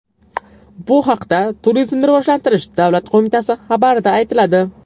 Bu haqda Turizmni rivojlantirish davlat qo‘mitasi xabarida aytiladi.